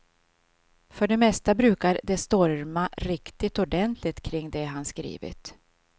För det mesta brukar det storma riktigt ordentligt kring det han skrivit.